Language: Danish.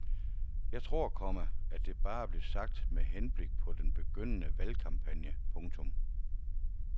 Jeg tror, komma at det bare blev sagt med henblik på den begyndende valgkampagne. punktum